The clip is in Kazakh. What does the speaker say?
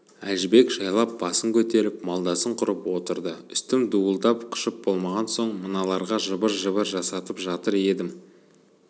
әжібек жайлап басын көтеріп малдасын құрып отырды үстім дуылдап қышып болмаған соң мыналарға жыбыр-жыбыр жасатып жатыр едім